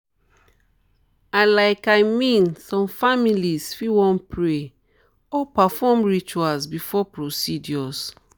i laik mean some families fit wan pray or perform rituals before procedures.